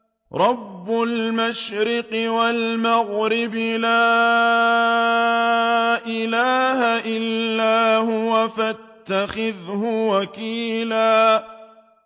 رَّبُّ الْمَشْرِقِ وَالْمَغْرِبِ لَا إِلَٰهَ إِلَّا هُوَ فَاتَّخِذْهُ وَكِيلًا